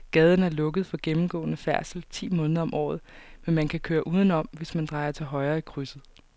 Gaden er lukket for gennemgående færdsel ti måneder om året, men man kan køre udenom, hvis man drejer til højre i krydset.